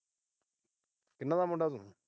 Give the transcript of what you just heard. ਕਿੰਨਾ ਦਾ ਮੁੰਡਾ ਤੂੰ।